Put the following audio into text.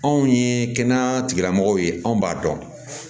Anw ye kɛnɛya tigilamɔgɔw ye anw b'a dɔn